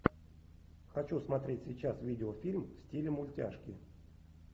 хочу смотреть сейчас видеофильм в стиле мультяшки